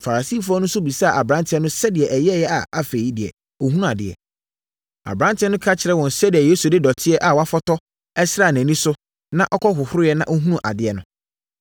Farisifoɔ no nso bisaa aberanteɛ no sɛdeɛ ɛyɛeɛ a afei deɛ ɔhunuu adeɛ. Aberanteɛ no ka kyerɛɛ wɔn sɛdeɛ Yesu de dɔteɛ a wɔafɔtɔ sraa nʼani so na ɔkɔhohoroeɛ na ɔhunuu adeɛ no.